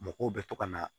Mɔgɔw bɛ to ka na